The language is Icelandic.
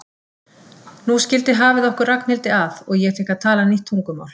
Nú skildi hafið okkur Ragnhildi að og ég fékk að tala nýtt tungumál.